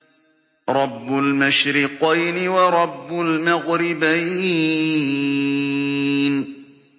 رَبُّ الْمَشْرِقَيْنِ وَرَبُّ الْمَغْرِبَيْنِ